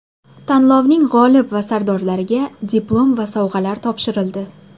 Tanlovning g‘olib va sovrindorlariga diplom va sovg‘alar topshirildi.